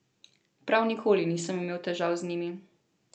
Prav nikoli nisem imel težav z njimi.